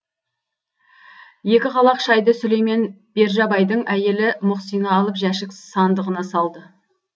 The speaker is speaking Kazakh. екі қалақ шайды сүлеймен бержабайдың әйелі мұқсина алып жәшік сандығына салды